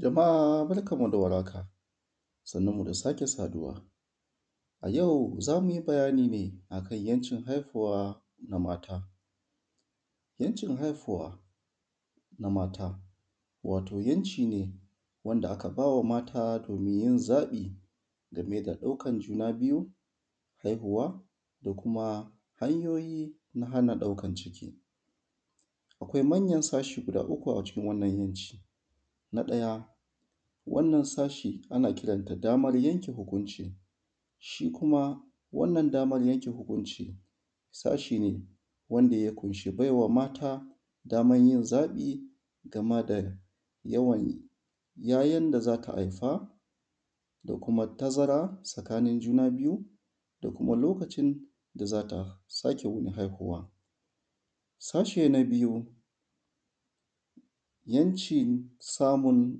jama’a barkan mu da warhaka sannunmu da sake saduwa a yau zamuyi bayani ne akan haihuwa na mata yancin haihuwa na mata wato yanci wanda aka baiwa mata domin yin zabi gameda juna biyu haihuwa da kuma hana daukan ciki akwai manyan sashi guda uku a gurin wannan gwaji na daya wannan sashi ana kiranta damar yanke hukunci shi kuma wannan damar yanke hukunci sashine wanda ya kunshi baiwa daman yin zabi gameda yawan ya yan da zata Haifa da kuma tazara tsakanin juna biyu da kuma lokacin da zata sake haihuwa sashi na biyu yancin samun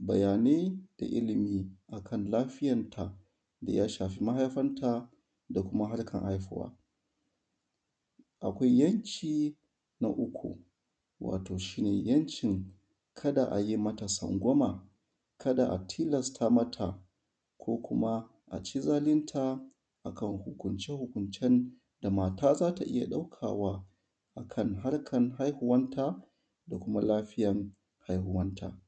bayanai da illimi akan lafiyan ta ya shafi mahaifanta da kuma harkan haihuwa akwai yanki na uku wato shine yankin kada ayi mata tsangwama a tilasta mata ko kuma aci zalinta akan hukunce hukuncen da mata zata iyya dauka wa akan harkan haihuwan ta da kuma lafiyan haihuwan ta